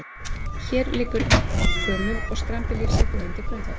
En hér liggur gömul og skrambi lífseig hugmynd til grundvallar.